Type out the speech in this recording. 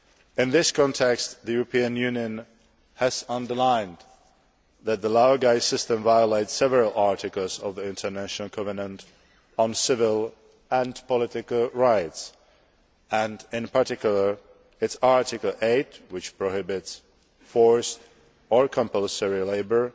In this context, the European Union has underlined that the laogai system violates several articles of the International Covenant on Civil and Political Rights, and in particular Article 8, which prohibits forced or compulsory labour,